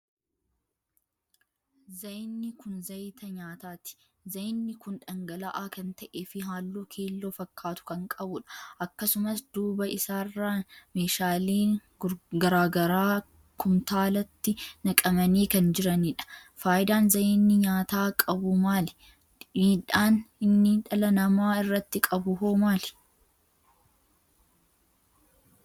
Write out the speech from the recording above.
Zayinni kun zayita nyaataati. Zayinni kun dhangala'aa kan ta'ee fi halluu keelloo fakkaatu kan qabudha. Akkasumas duuba issarran meeshaaleen garagaraa kumtaalatti nqamanii kan jiranidha. Faayidaan zayinni nyaataa qabu maali? Miidhaan inni dhala namaa irratti qabu hoo maali?